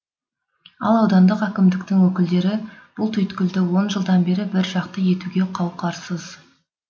ал аудандық әкімдіктің өкілдері бұл түйткілді он жылдан бері біржақты етуге қауқарсыз